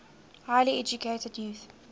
highly educated youth